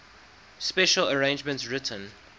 special arrangements written